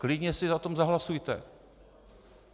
Klidně si o tom zahlasujte.